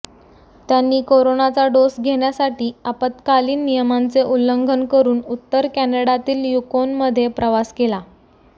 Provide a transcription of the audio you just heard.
त्यांनी करोनाचा डोस घेण्यासाटी आपात्कालीन नियमांचे उल्लंघन करून उत्तर कॅनडातील युकोनमध्ये प्रवास केला